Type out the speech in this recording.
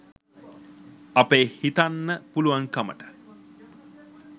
අපේ හිතන්න පුළුවන්කමට